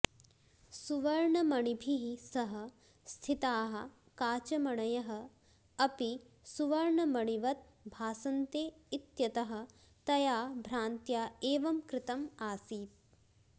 सुवर्णमणिभिः सह स्थिताः काचमणयः अपि सुवर्णमणिवत् भासन्ते इत्यतः तया भ्रान्त्या एवं कृतम् आसीत्